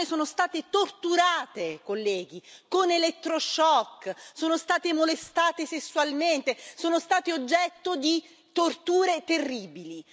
Queste donne sono state torturate, colleghi, con l'elettroshock, sono state molestate sessualmente, sono state oggetto di torture terribili.